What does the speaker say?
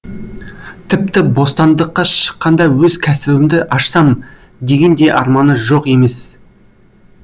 тіпті бостандыққа шыққанда өз кәсібімді ашсам деген де арманы жоқ емес